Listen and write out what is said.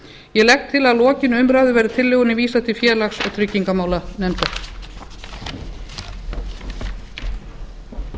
ég legg til að að lokinni umræðu verði tillögunni vísað til félags og tryggingamálanefndar